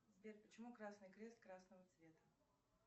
сбер почему красный крест красного цвета